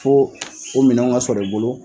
Fo o minanw ka sɔrɔ i bolo